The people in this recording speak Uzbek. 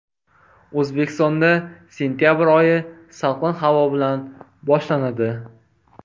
O‘zbekistonda sentabr oyi salqin havo bilan boshlanadi.